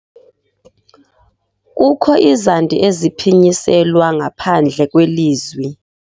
Kukho izandi eziphinyiselwa ngaphandle kwelizwi.